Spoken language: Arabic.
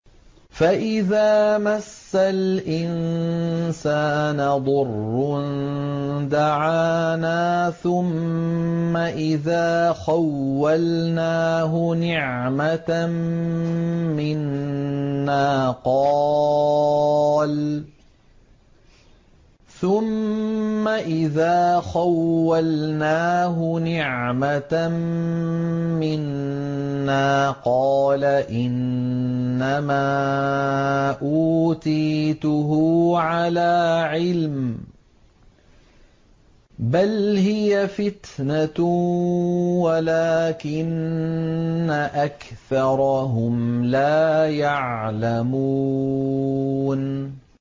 فَإِذَا مَسَّ الْإِنسَانَ ضُرٌّ دَعَانَا ثُمَّ إِذَا خَوَّلْنَاهُ نِعْمَةً مِّنَّا قَالَ إِنَّمَا أُوتِيتُهُ عَلَىٰ عِلْمٍ ۚ بَلْ هِيَ فِتْنَةٌ وَلَٰكِنَّ أَكْثَرَهُمْ لَا يَعْلَمُونَ